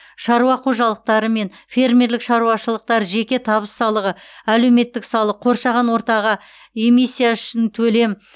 шаруа қожалықтары мен фермерлік шаруашылықтар жеке табыс салығы әлеуметтік салық қоршаған ортаға эмисстя үшін төлем